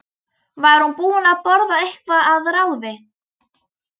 Var hún búin að borða eitthvað að ráði?